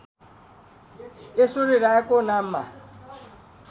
ऐश्वर्या रायको नाममा